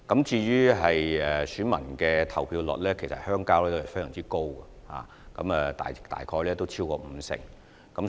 至於鄉郊代表選舉的投票率，其實是十分高的，大約超過五成。